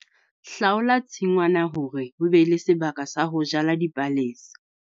Hlaola tshingwana hore ho be le sebaka sa ho jala dipalesa.